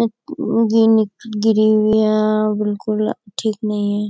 गिरे हुए बिल्कुल ठीक नहीं है।